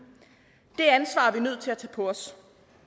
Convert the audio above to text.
det ansvar er vi nødt til at tage på os